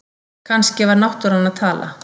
Kannski var náttúran að tala